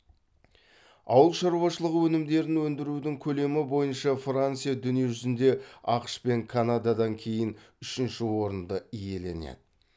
ауыл шаруашылық өнімдерін өндірудің көлемі бойынша франция дүние жүзінде ақш пен канададан кейін үшінші орынды иеленеді